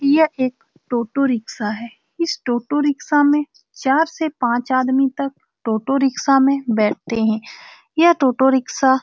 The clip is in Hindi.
यह एक टोटो रिक्शा है इस टोटो रिक्शा में चार से पाँच आदमी तक टोटो रिक्शा में बैठते हैं यह टोटो रिक्शा --